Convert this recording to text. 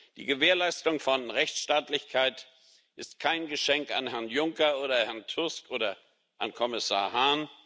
Die Gewährleistung von Rechtsstaatlichkeit ist kein Geschenk an Herrn Juncker oder Herrn Tusk oder an Kommissar Hahn.